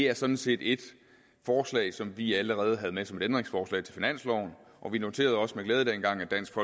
er sådan set et forslag som vi allerede havde med som et ændringsforslag til finansloven og vi noterede os også med glæde dengang at dansk